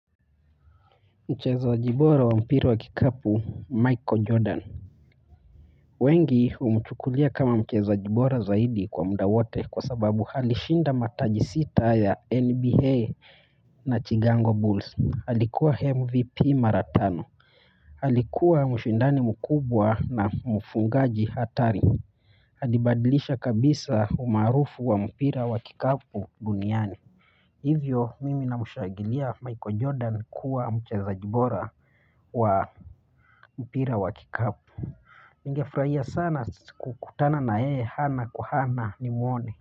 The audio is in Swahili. Mchezaji bora wa mpira wa kikapu ni Michael Jordan. Wengi umchukulia kama mchezaji bora zaidi kwa muda wote kwa sababu alishinda mataji sita ya NBA na Chicago Bulls alikuwa MVP mara tano alikuwa mshindani mkubwa na mfungaji hatari ali badilisha kabisa umaarufu wa mpira wa kikapu duniani hivyo mimi na namcgagulia ningefurahia sana kukutana na yeye ana kwa ana nimwone.